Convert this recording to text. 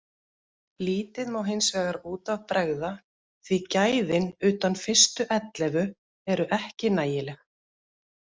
Lítið má hinsvegar út af bregða því gæðin utan fyrstu ellefu eru ekki nægileg.